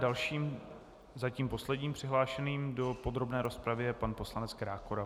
Dalším, zatím posledním přihlášeným do podrobné rozpravy je pan poslanec Krákora.